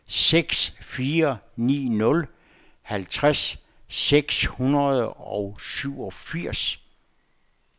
seks fire ni nul halvtreds seks hundrede og syvogfirs